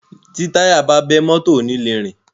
Tí táyà bá bẹ́, mọ́tọ̀ ò ni le rìn.